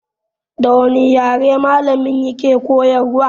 Da wane yare malamin ya ke koyarwa?